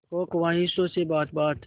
हो ख्वाहिशों से बात बात